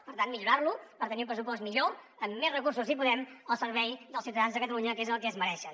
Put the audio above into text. per tant millorar lo per tenir un pressupost millor amb més recursos si podem al servei dels ciutadans de catalunya que és el que es mereixen